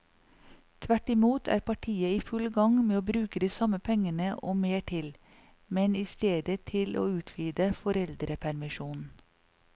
Tvert imot er partiet i full gang med å bruke de samme pengene og mer til, men i stedet til å utvide foreldrepermisjonen.